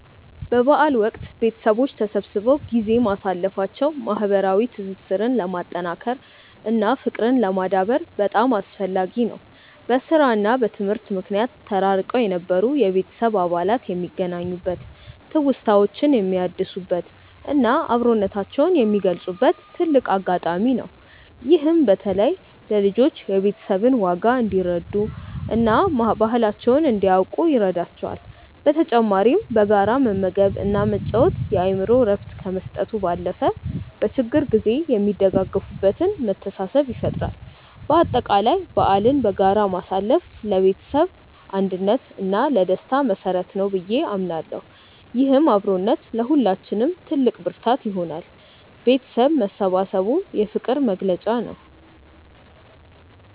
በበዓል ወቅት ቤተሰቦች ተሰብስበው ጊዜ ማሳለፋቸው ማህበራዊ ትስስርን ለማጠናከር እና ፍቅርን ለማዳበር በጣም አስፈላጊ ነው። በስራ እና በትምህርት ምክንያት ተራርቀው የነበሩ የቤተሰብ አባላት የሚገናኙበት፣ ትውስታዎችን የሚያድሱበት እና አብሮነታቸውን የሚገልጹበት ትልቅ አጋጣሚ ነው። ይህም በተለይ ለልጆች የቤተሰብን ዋጋ እንዲረዱ እና ባህላቸውን እንዲያውቁ ይረዳቸዋል። በተጨማሪም በጋራ መመገብ እና መጫወት የአእምሮ እረፍት ከመስጠቱ ባለፈ፣ በችግር ጊዜ የሚደጋገፉበትን መተሳሰብ ይፈጥራል። በአጠቃላይ በዓልን በጋራ ማሳለፍ ለቤተሰብ አንድነት እና ለደስታ መሰረት ነው ብዬ አምናለሁ። ይህም አብሮነት ለሁላችንም ትልቅ ብርታት ይሆናል። ቤተሰብ መሰባሰቡ የፍቅር መግለጫ ነው።